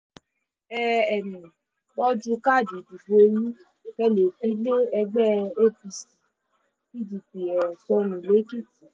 ẹ um tọ́jú káàdì ìdìbò yín kí ẹ lè fi lé ẹgbẹ́ apc pdp um sọnù lẹ́kìtì